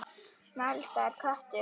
Snælda er köttur